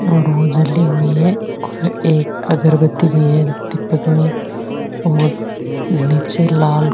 और वो जली हुई है और एक अगरबत्ती भी है दीपक में और निचे लाल --